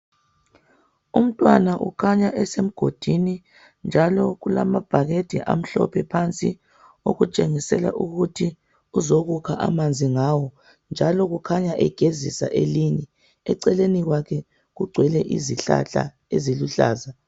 Umntwana ukhanya esemgodini, njalo kulamabhakede amhlophe phansi okutshengisela ukuthi uzokukha amanzi ngawo Njalo ukhanya egezisa elinye. Eceleni kwakhe kugcwele izihlahla eziluhlaza.